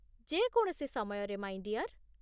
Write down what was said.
ଯେ କୌଣସି ସମୟରେ, ମାଇଁ ଡିଅର୍।